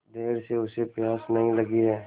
देर से उसे प्यास नहीं लगी हैं